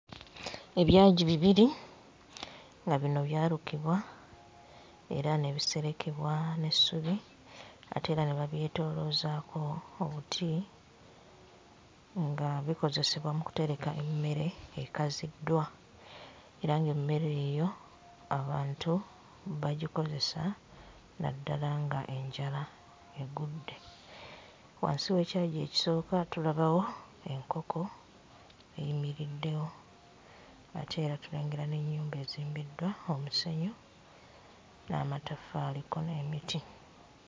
Ebyagi bibiri nga bino byalukibwa era ne biserekebwa n'essubi ate era ne babyetooloozaako obuti nga bikozesebwa mu kutereka emmere ekaziddwa era ng'emmere eyo abantu bagikozesa naddala nga enjala eggudde, wansi w'ekyagi ekisooka tulabawo enkoko eyimiriddewo ate era tulengera n'ennyumba ezimbiddwa omusenyu n'amatafaali kko n'emiti